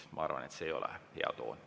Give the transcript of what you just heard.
Ma arvan, et see ei ole hea toon.